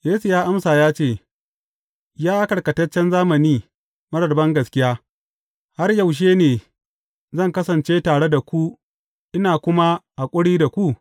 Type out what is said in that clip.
Yesu ya amsa ya ce, Ya karkataccen zamani marar bangaskiya, har yaushe ne zan kasance tare da ku, ina kuma haƙuri da ku?